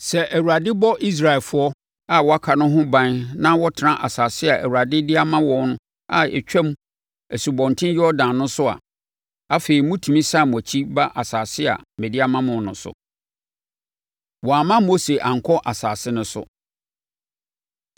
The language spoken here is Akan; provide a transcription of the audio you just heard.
Sɛ Awurade bɔ Israelfoɔ a wɔaka no ho ban na wɔtena asase a Awurade de ama wɔn a ɛtwam Asubɔnten Yordan no so a, afei motumi sane mo akyi ba asase a mede ama mo no so.” Wɔamma Mose Ankɔ Asase No So